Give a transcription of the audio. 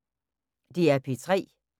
DR P3